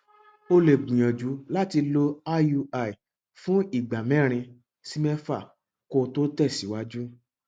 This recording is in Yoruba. o lè gbìyànjú láti lo iui fún ìgbà mẹrin sí mẹfà kó o tó tẹsíwájú